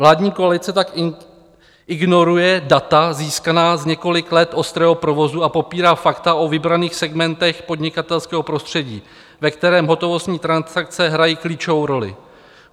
Vládní koalice tak ignoruje data získaná z několika let ostrého provozu a popírá fakta o vybraných segmentech podnikatelského prostředí, ve kterém hotovostní transakce hrají klíčovou roli.